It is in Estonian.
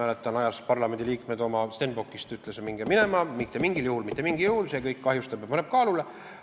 " Mäletan, et ta ajas parlamendiliikmed oma Stenbockist välja ja ütles: "Minge minema, mitte mingil juhul, mitte mingil juhul, see kõik kahjustab ja paneb kaalule!